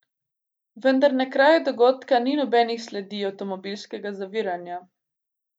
Vendar na kraju dogodka ni nobenih sledi avtomobilskega zaviranja.